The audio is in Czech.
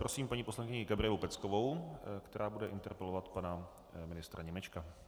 Prosím paní poslankyni Gabrielu Peckovou, která bude interpelovat pana ministra Němečka.